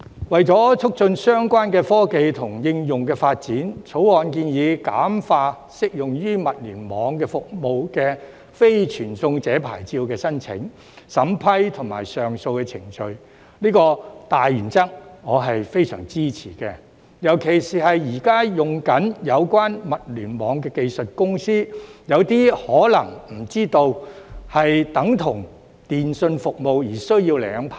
為了促進相關科技和應用發展，《條例草案》建議簡化適用於物聯網服務的"非傳送者牌照"的申請、審批及上訴程序，這個大原則我是非常支持的，尤其是現正使用有關物聯網技術的公司，有些可能不知道這等同電訊服務而需要領牌。